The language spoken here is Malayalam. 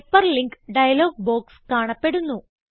ഹൈപ്പർലിങ്ക് ഡയലോഗ് ബോക്സ് കാണപ്പെടുന്നു